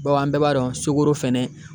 Bawo an bɛɛ b'a dɔn sokoro fɛnɛ